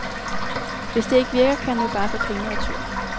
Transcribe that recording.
Hvis det ikke virker, kan han jo bare få pengene retur.